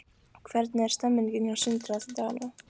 Hvernig er stemningin hjá Sindra þessa dagana?